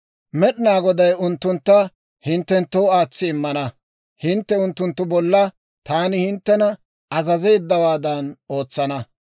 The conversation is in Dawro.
Med'inaa Goday unttuntta hinttenttoo aatsi immana; hintte unttunttu bolla taani hinttena azazeeddawaadan ootsana.